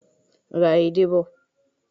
Ra edé bọ̀.